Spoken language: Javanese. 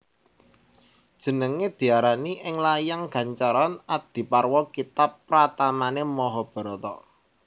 Jenengé diarani ing layang gancaran Adiparwa kitab pratamané Mahabharata